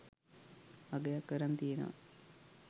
අගයක් අරන් තියනවා.